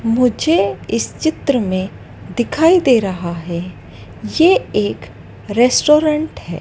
मुझे इस चित्र में दिखाई दे रहा है ये एक रेस्टोरेंट है।